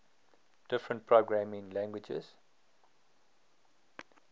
different programming languages